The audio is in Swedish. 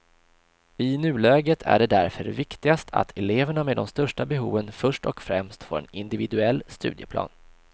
I nuläget är det därför viktigast att eleverna med de största behoven först och främst får en individuell studieplan.